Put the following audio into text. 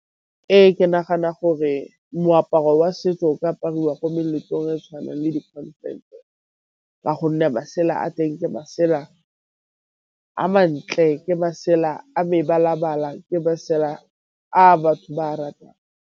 Ee, ke nagana gore moaparo wa setso o ka apariwa ko meletlong e tshwanang le di ka gonne masela a teng ke masela a mantle, ke masela a mebalabala, ke masela a batho ba a ratang.